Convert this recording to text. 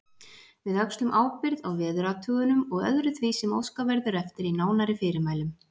Við öxlum ábyrgð á veðurathugunum og öðru því sem óskað verður eftir í nánari fyrirmælum.